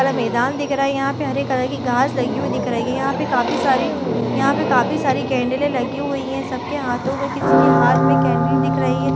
यहाँ हरा मैदान दिख रहा है हरे कलर की घास लगी हुई दिख रही है यहाँ पे काफी सारी यहाँ पे काफी सारी केंडले लगी हुई सबके हाथों मे किसी हाथ मे केंडल दिख रही है।